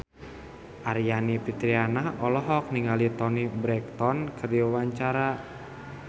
Aryani Fitriana olohok ningali Toni Brexton keur diwawancara